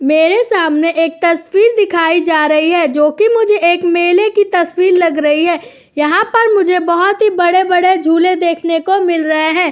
मेरे सामने एक तस्वीर दिखाई जा रही है जोकि मुझे एक मेले की तस्वीर लग रही है। यहाँ पर मुझे बहुत ही बड़े-बड़े झूले देखने को मिल रहे हैं।